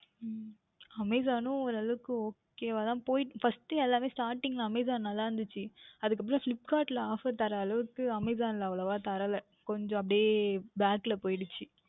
உம் Amazon ணும் ஓர் அளவிற்கு Ok வாக தான் போய்க்கொண்டு யெல்லாமுமே Starting ல நன்றாக இருந்தது அதற்கு அப்புறம் Flipkart யில் Offer தரும் அளவிற்கு Amazom யில் அவ்வளவு தரவில்லை கொஞ்சம் அப்படியே Back இல் போய்விட்டது